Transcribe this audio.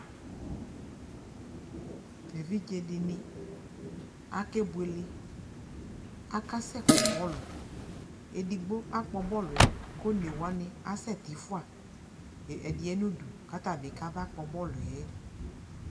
evidze di ni akeboele akasɛ kpɔ bɔlu edigbo akpɔ bɔluɛ ko one wani asɛ ti fua ɛdiɛ no udu ko ata bi ka ba kpɔ bɔluɛ